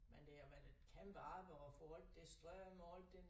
Men det har jo været et kæmpe arbejde at få alt det strøm og alt den